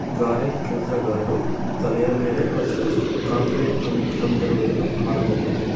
ಗಾರೆ ಕೆಲಸಗಾರರು ತಲೆಯ ಮೇಲೆ ಹೊತ್ತು ಕಾಂಕ್ರೀಟ್ ತಂ ತಂದಿರುವುದನ್ನು ಕಾಣಬಹುದು.